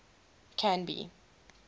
canby